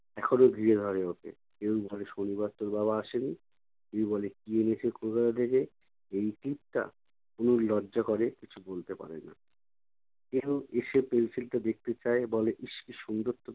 এখনও ঘিরে ধরে ওকে। কেউ ধরে শনিবার তোর বাবা আসেনি? কেউ বলে কী এনেছে কলকাতা থেকে? এই টিপটা? তনুর লজ্জা করে কিছু বলতে পারে না। কেউ এসে pencil টা দেখতে চায়, বলে ইশ! কী সুন্দর তোর